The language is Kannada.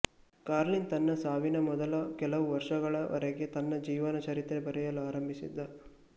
ಕಾರ್ಲಿನ್ ತನ್ನ ಸಾವಿನ ಮೊದಲ ಕೆಲವು ವರ್ಷಗಳ ವರೆಗ ತನ್ನ ಜೀವನ ಚರಿತ್ರೆ ಬರೆಯಲು ಆರಂಭಿಸಿದ್ದ